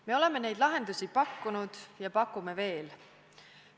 Me oleme neid lahendusi pakkunud ja pakume veel.